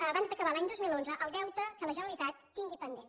abans d’acabar l’any dos mil onze el deute que la generalitat tingui pendent